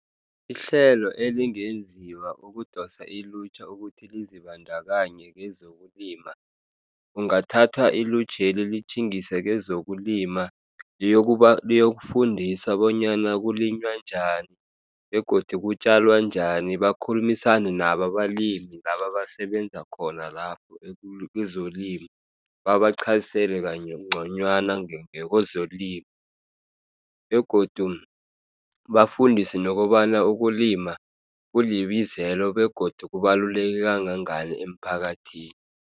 Ihlelo elingenziwa ukudosa ilutjha ukuthi lizibandakanye kwezokulima, kungathathwa ilutjheli litjhingiswe kwezokulima, liyokufundiswa bonyana kulinywa njani, begodu kutjalwa njani. Bakhulumisane nabo abalimi labo abasebenza khona lapho kwezolimo, babaqhazisele kangconywana ngakwezolimo, begodu bafundiswe nokobana ukulima kulibizelo begodu kubaluleke kangangani emphakathini.